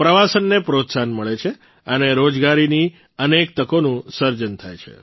પ્રવાસનને પ્રોત્સાહન મળે છે અને રોજગારીની અનેક તકોનું સર્જન થાય છે